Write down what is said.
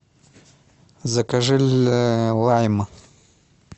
закажи лайм